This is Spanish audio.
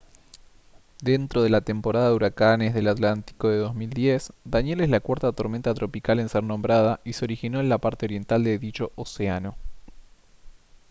dentro de la temporada de huracanes del atlántico de 2010 danielle es la cuarta tormenta tropical en ser nombrada y se originó en la parte oriental de dicho océano